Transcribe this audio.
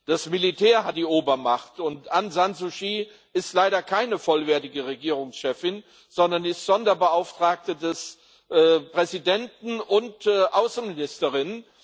Das Militär hat die Obermacht und Aung San Suu Kyi ist leider keine vollwertige Regierungschefin, sondern ist Sonderbeauftragte des Präsidenten und Außenministerin.